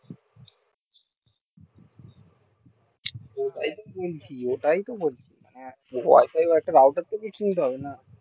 এ টাই তো বলছি out door থেকেই সুবিধা হবেনা